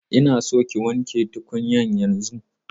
Ina son ki wanke tukwanen yanzun!